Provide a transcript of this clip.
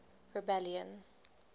rebellion